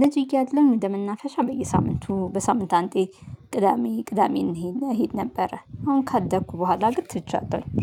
ልጅ እያለን ወደመናፈሻ በየሳምንቱ በሳምንት አንቴ ቅዳሜ ቅዳሜ እንሂድ እሄድ ነበረ አሁን ካደኩ በኋላ ግን ትቻለሁኝ